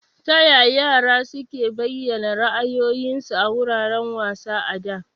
Taya yara suke bayyana ra'ayoyinsu a wuraren wasa a da?